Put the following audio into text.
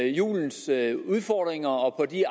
julens udfordringer og de